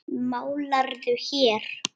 Málarðu hér?